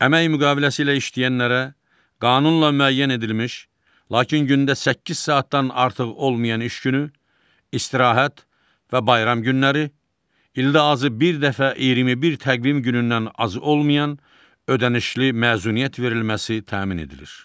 Əmək müqaviləsi ilə işləyənlərə qanunla müəyyən edilmiş, lakin gündə səkkiz saatdan artıq olmayan iş günü, istirahət və bayram günləri, ildə azı bir dəfə 21 təqvim günündən az olmayan ödənişli məzuniyyət verilməsi təmin edilir.